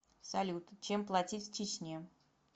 салют чем платить в чечне